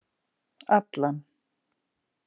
Allan